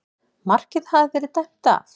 Markið hafði verið dæmt af